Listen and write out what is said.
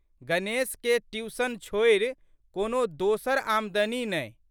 गणेशकेँ tuition छोड़ि कोनो दोसर आमदनी नहि।